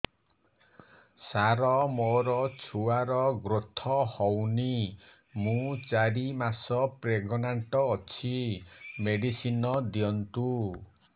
ସାର ମୋର ଛୁଆ ର ଗ୍ରୋଥ ହଉନି ମୁ ଚାରି ମାସ ପ୍ରେଗନାଂଟ ଅଛି ମେଡିସିନ ଦିଅନ୍ତୁ